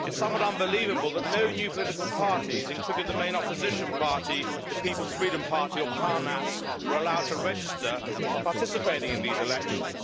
It is somewhat unbelievable that no new political parties, including the main opposition party, the People's Freedom Party or PARNAS, were allowed to register for participating in these elections.